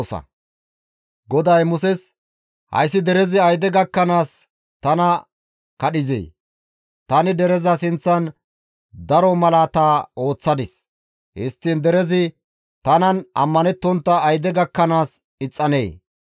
GODAY Muses, «Hayssi derezi ayde gakkanaas tana kadhanee? Tani dereza sinththan daro malaata ooththadis; histtiin derezi tanan ammanettontta ayde gakkanaas ixxanee?